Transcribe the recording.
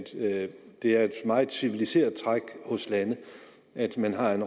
det er et meget civiliseret træk hos lande at man har en